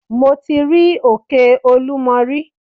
Mi ò tí rí òkè olúmo rí.